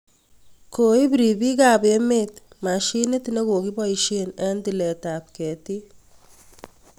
Koip ripiik ap emet mashinit ne kokiposye eng' tilet ap ketik